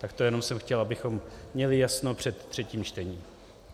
Tak to jenom jsem chtěl, abychom měli jasno před třetím čtením.